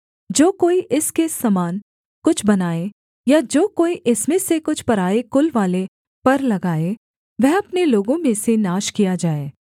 जो कोई इसके समान कुछ बनाए या जो कोई इसमें से कुछ पराए कुलवाले पर लगाए वह अपने लोगों में से नाश किया जाए